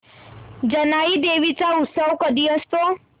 जानाई देवी चा उत्सव कधी असतो